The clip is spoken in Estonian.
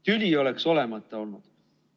Tüli oleks olemata olnud.